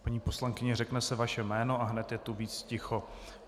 Paní poslankyně, řekne se vaše jméno a hned je tu víc ticho.